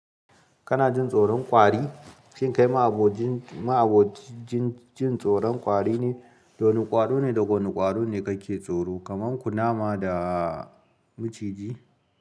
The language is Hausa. Kana jin tsoron ƙwari? Shin kai ma abojin ma abojin jin tsoron kwari ne? Wane kwaro ne da wane kwaro ne kake tsoro? Kamar kunama da maciji.